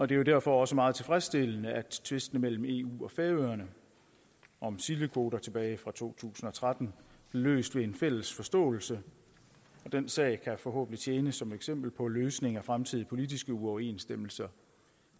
det er derfor også meget tilfredsstillende at tvisten mellem eu og færøerne om sildekvoter tilbage fra to tusind og tretten blev løst ved en fælles forståelse den sag kan forhåbentlig tjene som eksempel på løsninger af fremtidige politiske uoverensstemmelser